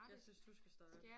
Jeg synes du skal starte